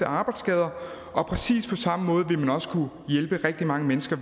arbejdsskader og præcis på samme måde vil man også kunne hjælpe rigtig mange mennesker